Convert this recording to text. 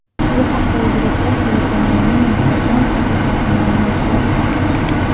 Bu haqda UzReport telekanalining Instagram sahifasi ma’lumot berdi.